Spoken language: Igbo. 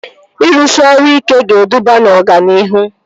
Ịrụsị ọrụ ike ga-eduba na ọganihu